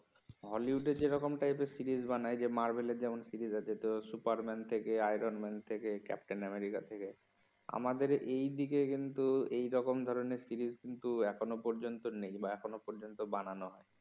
হলিউডে যে রকম টাইপ এর সিরিজ বানায় যে মারভেল এর যেমন সিরিজ আছে তো সুপারম্যান থেকে, আইরন ম্যান থেকে, কাপ্তেন আমেরিকা থেকে, আমাদের এই দিকে কিন্তু এই রকম ধরনের সিরিজ কিন্তু এখনো পর্যন্ত নেই বা এখনো পর্যন্ত নেই বা বানানো হয় নি